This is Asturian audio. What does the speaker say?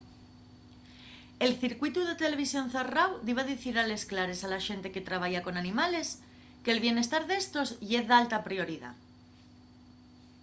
el circuitu de televisión zarráu diba dicir a les clares a la xente que trabaya con animales que’l bientar d’éstos ye d’alta prioridá.